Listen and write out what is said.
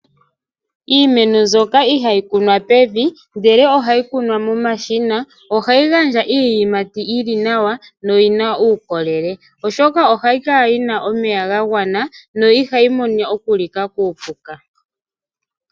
Iimeno mbyoka ihayi kunwa pevi ndele ohayi kunwa momashina ohayi gandja iiyimati yili nawa noyina uukolele oshoka ohayi kala yina omeya ga gwana no ihayi vulu okulika kuupuka.